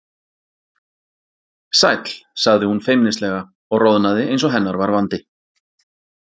Sæll sagði hún feimnislega og roðnaði eins og hennar var vandi.